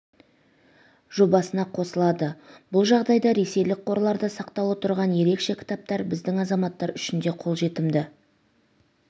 жобасына қосылады бұл жағдайда ресейлік қорларда сақтаулы тұрған ерекше кітаптар біздің азаматтар үшін де қолжетімді